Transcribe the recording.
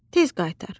tez qaytar.